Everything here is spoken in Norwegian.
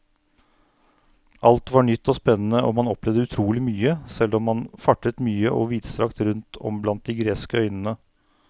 Alt var nytt og spennende og man opplevde utrolig mye, selv om man fartet mye og vidstrakt rundt om blant de greske øyene.